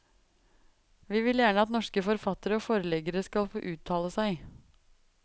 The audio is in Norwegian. Vi vil gjerne at norske forfattere og forleggere skal få uttale seg.